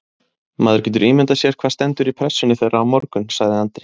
Maður getur ímyndað sér hvað stendur í pressunni þeirra á morgun, sagði Andri.